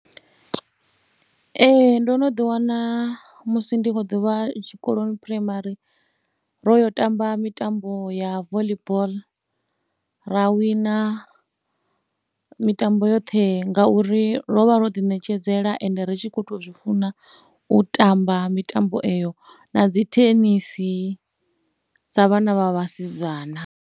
Ee ndo no ḓiwana musi ndi khou ḓuvha tshikoloni phuraimari ro yo tamba mitambo ya voḽi boḽo ra wina mitambo yoṱhe ngauri ro vha ro ḓiṋekedzela ende ri tshi khou tou zwi funa u tamba mitambo eyo na dzi thenisi sa vhana vha vhasidzana.